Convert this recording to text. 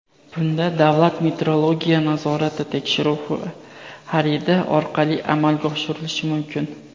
Bunda davlat metrologiya nazorati tekshiruv xaridi orqali amalga oshirilishi mumkin.